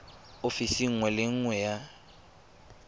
ofising nngwe le nngwe ya